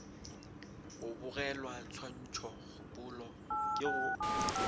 go bogelwa tshwantšhokgopolo ke go